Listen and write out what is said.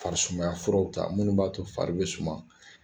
Farisumaya furaw ta minnu b'a to fari bɛ suma